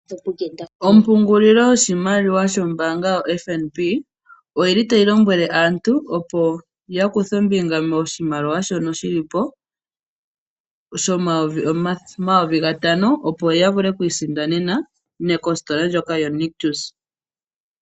Ompungulilo yoshimaliwa shombaanga yoFNB, oyili tayi lombwele aantu opo yakuthe ombinga moshimaliwa shono shili po shomayovi gatano, opo yavule okwiisindanena kositola ndjoko yoNictus.